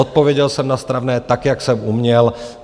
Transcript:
Odpověděl jsem na stravné, tak jak jsem uměl.